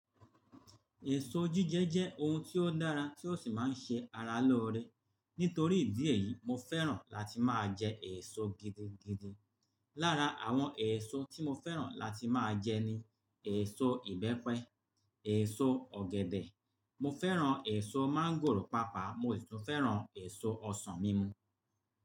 Èso jíjẹ jẹ́ oun tí ó dára tí ó sì máa ń ṣe ara lóore. Nítorí ìdí èyí, mo fẹ́ràn láti máa jẹ èso gidigidi. Lára àwon èso tí mo fẹ́ràn láti máa jẹ ni, èso ìbẹ́pẹ, èso ọ̀gẹ̀dẹ̀, mo fẹ́ràn èso máńgòrò pápá, mo sì tún fẹ́ràn èso ọsàn mímu.